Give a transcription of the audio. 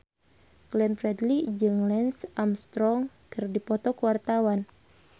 Glenn Fredly jeung Lance Armstrong keur dipoto ku wartawan